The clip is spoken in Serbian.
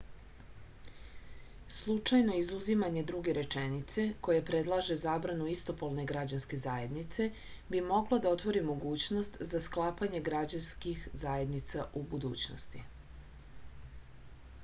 slučajno izuzimanje druge rečenice koja predlaže zabranu istopolne građanske zajednice bi moglo da otvori mogućnost za sklapanje građanskih zajednica u budućnosti